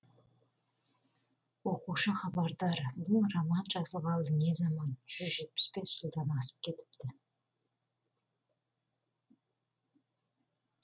оқушы хабардар бұл роман жазылғалы не заман жүз жетпіс бес жылдан асып кетіпті